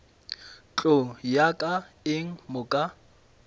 tlo nyaka eng mo ka